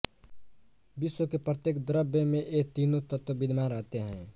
विश्व के प्रत्येक द्रव्य में ये तीनों तत्व विद्यमान रहते हैं